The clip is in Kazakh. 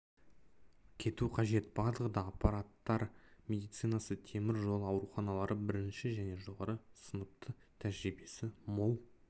кету қажет барлығы да апаттар медицинасы темір жол ауруханалары бірінші және жоғары сыныпты тәжірибесі мол